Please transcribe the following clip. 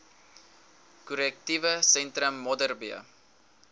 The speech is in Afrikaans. korrektiewe sentrum modderbee